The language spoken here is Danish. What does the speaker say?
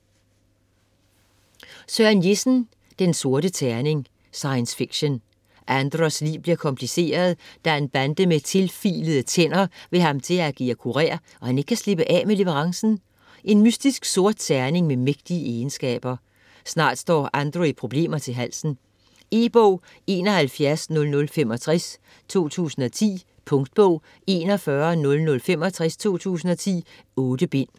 Jessen, Søren: Den sorte terning Science fiction. Andros liv bliver kompliceret, da en bande med tilfilede tænder vil have ham til at agere kurér, og han ikke kan slippe af med leverancen: en mystisk sort terning med mægtige egenskaber. Snart står Andro i problemer til halsen. E-bog 710065 2010. Punktbog 410065 2010. 8 bind.